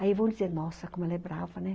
Aí vão dizer, nossa, como ela é brava, né?